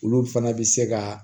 Olu fana bɛ se ka